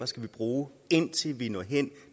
skal bruge indtil vi når hen